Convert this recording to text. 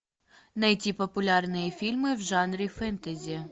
найти популярные фильмы в жанре фэнтези